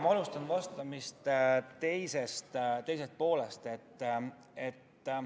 Ma alustan vastamist teisest küsimusest.